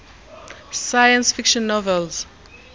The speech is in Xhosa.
science fiction novels